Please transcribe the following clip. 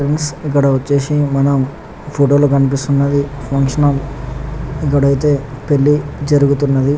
Friends ఇక్క్కడ వచ్చేసి మనం ఫోటో లో క్నిపిస్తునది ఫంక్షన్ హాల్ ఇక్క్కడ అయితే పెళ్లి జేరుగుతూ వున్నది.